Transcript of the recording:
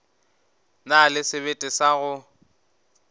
na le sebete sa go